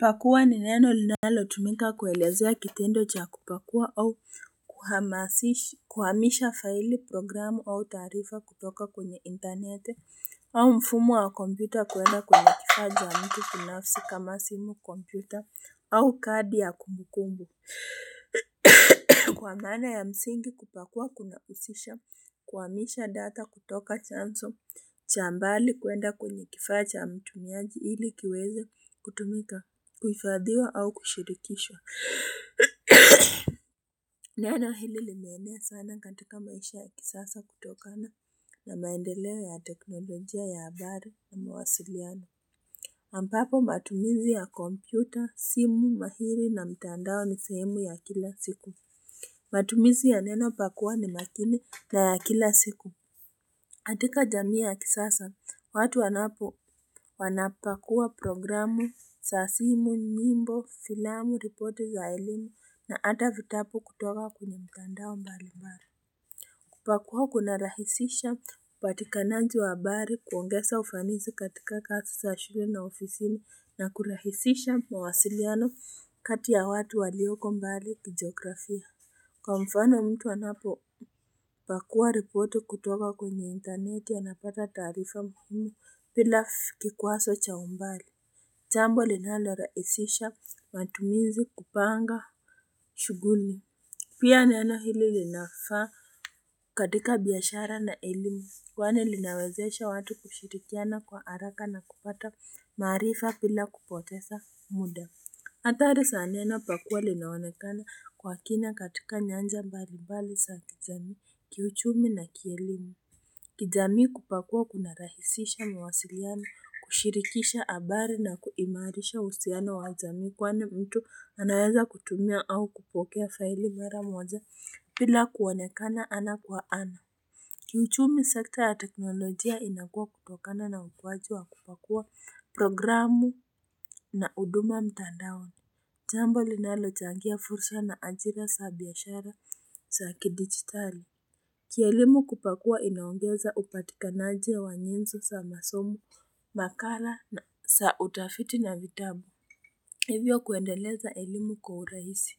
Pakua ni neno linalotumika kuelezea kitendo cha kupakua au kuhamisha faili programu au taarifa kutoka kwenye intaneti au mfumu wa kompyuter kuenda kwenye kifaa cha mtu binafsi kama simu kompyuter au kadi ya kumbukumbu Kwa maana ya msingi kupakua kunahusisha kuhamisha data kutoka chanzo cha mbali kwenda kwenye kifaa cha mtumiaji ili kiweze kutumika kuhifadhiwa au kushirikishwa Neno hili limeenea sana katika maisha ya kisasa kutokana na maendeleo ya teknolojia ya habari na mawasiliano ambapo matumizi ya kompyuta, simu, mahiri na mitandao ni sehemu ya kila siku matumizi ya neno pakua ni makini na ya kila siku katika jamii ya kisasa, watu wanapakua programu za simu, nyimbo, filamu, ripoti za elimu na hata vitabu kutoka kwenye mitandao mbali mbali kupakua kuna rahisisha upatikanaji wa habari, kuongeza ufanizi katika kazi za shule na ofisini na kurahisisha mawasiliano kati ya watu walioko mbali kijiografia. Kwa mfano mtu anapopakua ripoti kutoka kwenye intaneti anapata taarifa muhimu bila kikwazo cha umbali. Jambo linalorahisisha matumizi kupanga shughuli. Pia neno hili linafaa katika biashara na elimu. Kwani linawezesha watu kushirikiana kwa haraka na kupata maarifa bila kupoteza muda. Hatari za neno pakua linaonekana kwa kina katika nyanja mbalimbali za kijamii, kiuchumi na kielimu kijamii kupakua kunarahisisha mawasiliano, kushirikisha habari na kuimarisha uhusiano wa jamii kwani mtu anaweza kutumia au kupokea faili mara moja bila kuonekana ana kwa ana. Kiuchumi sekta ya teknolojia inakuwa kutokana na ukuwaji wa kupakua programu na huduma mtandaoni. Jambo linalochangia fursa na ajira za biashara za kidigitali. Kielimu kupakua inaongeza upatikanaji wa nyinzo sa masomo, makala za utafiti na vitabu. Hivyo kuendeleza elimu kwa urahisi.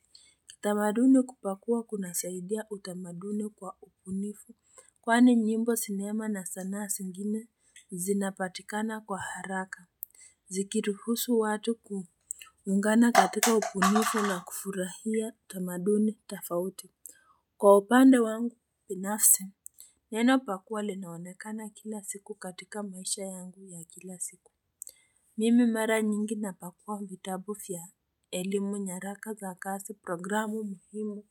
Tamaduni kupakua kunasaidia utamaduni kwa ubunifu. Kwani nyimbo, sinema na sanaa zingine zinapatikana kwa haraka. Zikiruhusu watu kuungana katika ubunifu na kufurahia tamaduni tofauti. Kwa upande wangu binafsi neno pakua linaonekana kila siku katika maisha yangu ya kila siku Mimi mara nyingi napakua vitabu vya elimu, nyaraka za kazi, programu muhimu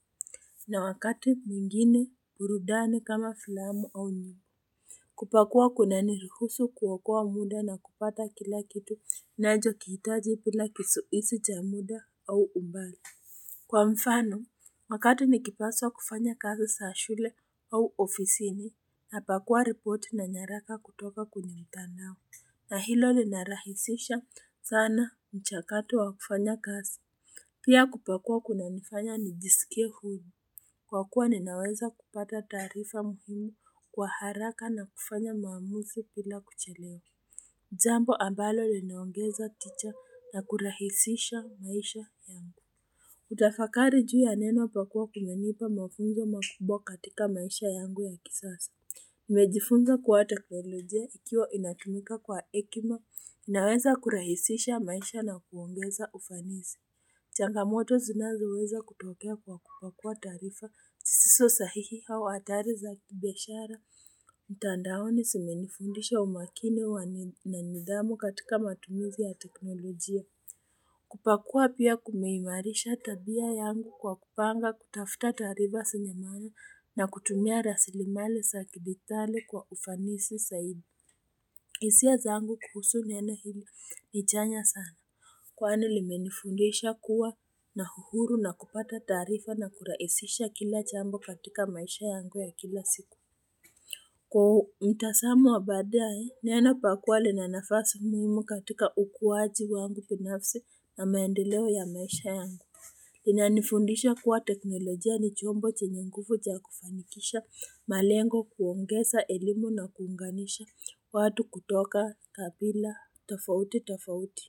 na wakati mwingine burudani kama filamu au nyimbo kupakua kunaniruhusu kuokoa muda na kupata kila kitu ninachokihitaji bila kizuizi cha muda au umbali. Kwa mfano, wakati nikipaswa kufanya kazi za shule au ofisini, napakua repoti na nyaraka kutoka kwenye mitandao. Na hilo linarahisisha sana mchakato wa kufanya kazi. Pia kupakua kunanifanya nijisikie huru. Kwa kuwa ninaweza kupata taarifa muhimu kwa haraka na kufanya maamuzi bila kuchelewa. Jambo ambalo linaongeza motisha na kurahisisha maisha yangu. Kutafakari juu ya neno pakua kumenipa mafunzo makubwa katika maisha yangu ya kisasa. Nimejifunza kuwa teknolojia ikiwa inatumika kwa hekima inaweza kurahisisha maisha na kuongeza ufanisi Changamoto zinazoweza kutokea kwa kupakua taarifa zisizo sahihi au hatari za kibiashara mtandaoni zimenifundisha umakini na nidhamu katika matumizi ya teknolojia kupakua pia kumeimarisha tabia yangu kwa kupanga, kutafuta taarifa zenye maana na kutumia rasilimali za kidigitali kwa ufanisi zaidi. Hisia zangu kuhusu neno hili ni chanya sana Kwani limenifundisha kuwa na uhuru na kupata taarifa na kurahisisha kila jambo katika maisha yangu ya kila siku. Kwa mtazamo wa baadae neno pakua lina nafasi muhimu katika ukuwaji wangu binafsi na maendeleo ya maisha yangu Linanifundisha kuwa teknolojia ni chombo chenye nguvu cha kufanikisha malengo kuongeza elimu na kuunganisha watu kutoka kabila tofauti tofauti.